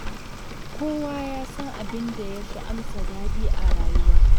Kowa ya san abin da ya fi amsa daɗi a rayuwa.